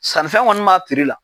Sannifɛn kɔni m'a la.